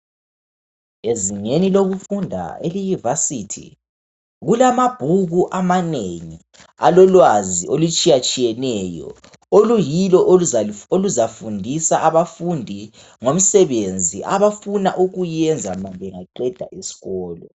Ezingeni lokufunda eliyi vasithi kulamabhuku amanengi alolwazi olutshiyatshiyeneyo oluyilo oluzafundisa abafundi ngomsebenzi abafuna ukuyenza ma bengaqeda isikolo.